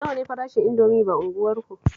Nawa ne farashin Indomi ba unguwarku?